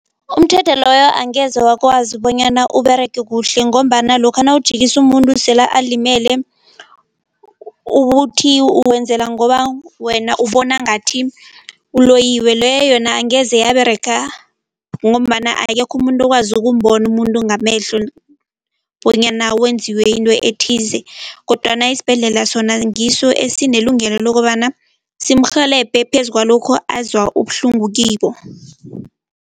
Umthetho loyo angeze wakwazi bonyana uberege kuhle ngombana lokha nawujikisa umuntu sele alimele, ukuthi wenzela ngoba wena ubona ngathi uloyiwe. Leyo yona angeze yaberega ngombana akekho umuntu okwazi ukumbona umuntu ngamehlo bonyana wenziwe into ethize kodwana isibhedlela sona ngiso esinelungelo lokobana simurhelebhe phezu kwalokho azwa ubuhlungu kibo.